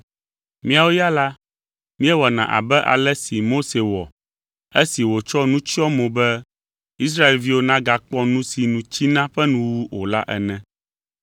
Míawo ya la, míewɔna abe ale si Mose wɔ esi wòtsɔ nu tsyɔ mo be Israelviwo nagakpɔ nu si nu tsina ƒe nuwuwu o la ene.